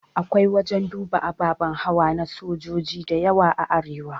Akwai wajan duba ababe hawa na sojoji diyawa a arewa